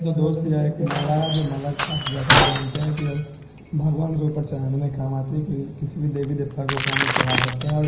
तो दोस्त एक माला है जो माला आप जैसा कि जानते हैं कि य भगवान के ऊपर चढ़ाने में काम आती है किसी भी देवी देवता के ऊपर हम लोग चढ़ा सकते हैं और --